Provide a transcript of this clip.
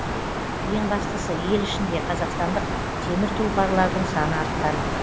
ең бастысы ел ішінде қазақстандық темір тұлпарлардың саны артқан